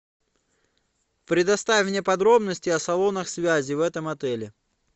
предоставь мне подробности о салонах связи в этом отеле